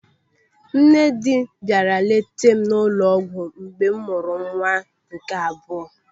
Nne dị bịara leeta m n'ụlọ ọgwụ mgbe m mụrụ nwa m nke abụọ.